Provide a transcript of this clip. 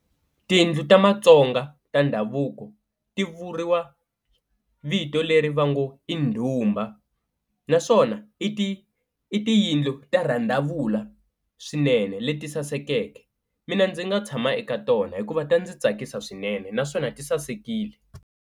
Tiyindlu ta Matsonga ta ndhavuko ti vuriwa vito leri va ngo i ndhumba, naswona i ti i tiyindlu ta rhandavula swinene leti sasekeke mina ndzi nga tshama eka tona hikuva ta ndzi tsakisa swinene naswona ti sasekile.